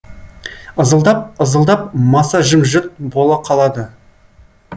ызылдап ызылдап маса жым жырт бола қалады